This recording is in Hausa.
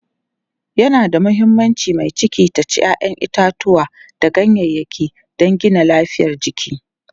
yana da muhimmanci mai ciki ta ci ƴaƴan itatauwa da ganyayaki dan Gina lafiyar jiki